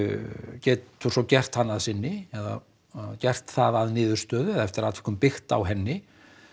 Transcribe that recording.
getur svo gert hana að sinni eða gert það að niðurstöðu eftir atvikum byggt á henni